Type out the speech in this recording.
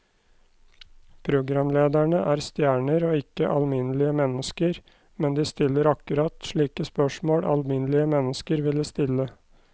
Programlederne er stjerner og ikke alminnelige mennesker, men de stiller akkurat slike spørsmål alminnelige mennesker ville stille.